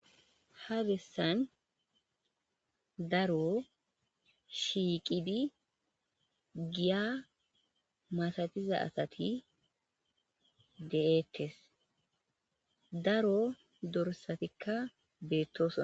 Ha bessan daro shiiqidi giyaa masathiza asathi de7eeththes; daro dorssathikka beeththoosona.